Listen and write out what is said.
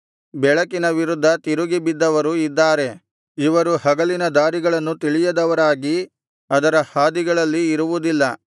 ಬೆಳಕಿನ ವಿರುದ್ಧ ತಿರುಗಿ ಬಿದ್ದವರು ಇದ್ದಾರೆ ಇವರು ಹಗಲಿನ ದಾರಿಗಳನ್ನು ತಿಳಿಯದವರಾಗಿ ಅದರ ಹಾದಿಗಳಲ್ಲಿ ಇರುವುದಿಲ್ಲ